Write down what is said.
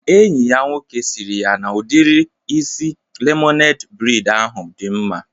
Enyi ya nwoke sịrị ya n'udiri isi lemonede breid ahụ dị mma